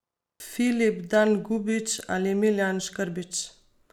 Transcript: Filip Dangubić ali Miljan Škrbić?